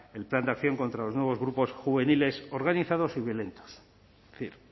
el plan de acción contra los nuevos grupos juveniles organizados y violentos es decir